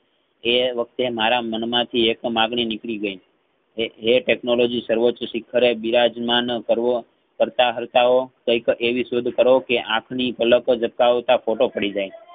એ વખતે મારા મન માંથી એક માંગણી નીકળીગઇ એ~એ technology સવોચ્ચ શિખરે બિરાજ મન કરવો કરતા હર્તાઓ કૈક એવી શોધ કરો કે અખાની પાલક જબ કાવતા photo પડી જાય